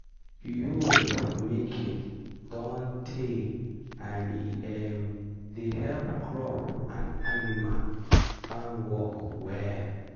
yool-making don tey and e um dey help crop and animal farmwork well.